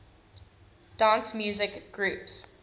dance music groups